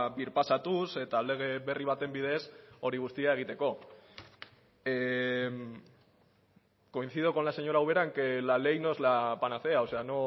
birpasatuz eta lege berri baten bidez hori guztia egiteko coincido con la señora ubera en que la ley no es la panacea o sea